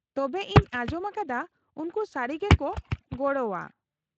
-ᱛᱚᱵᱮ ᱤᱧ ᱟᱸᱡᱚᱢ ᱟᱠᱟᱫᱟ ᱩᱱᱠᱩ ᱥᱟᱹᱨᱤ ᱜᱮᱠᱚ ᱜᱚᱲᱚᱜᱼᱟ ᱾